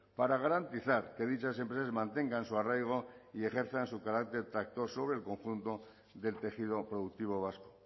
para garantizar que dichas empresas mantengan su arraigo y ejerzan su carácter tractor sobre el conjunto del tejido productivo vasco